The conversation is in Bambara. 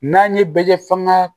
N'an ye bɛ kɛ fangan